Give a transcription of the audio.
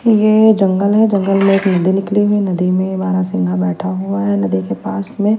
यह जंगल है जंगल में एक नदी निकली हुई है नदी में बारासिंघा बैठा हुआ है नदी के पास में--